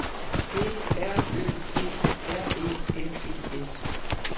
B R Ø D R E N E S